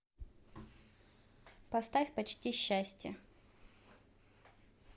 поставь почти счастье